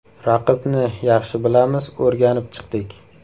Raqibni yaxshi bilamiz, o‘rganib chiqdik.